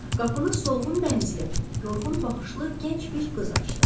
Qapını solğun bənizli, yorğun baxışlı gənc bir qız açdı.